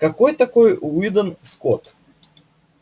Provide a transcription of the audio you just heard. какой такой уидон скотт